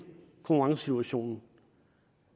konkurrencesituationen